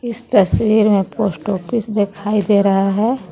इस तस्वीर मे पोस्ट ऑफिस दिखाई दे रहा हे.